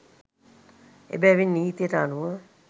එබැවින් නීතියට අනුව